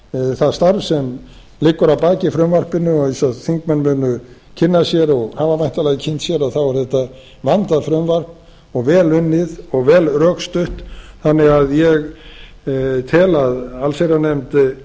það starf sem liggur að baki frumvarpinu og eins og þingmenn munu kynna sér og hafa væntanlega kynnt sér þá er þetta vandað frumvarp og vel unnið og vel rökstutt þannig að ég tel að allsherjarnefnd